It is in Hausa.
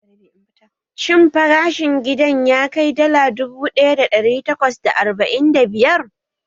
Shin farashin gidan ya kai dala dubu ɗaya da ɗari takwas da arba'in da biyar?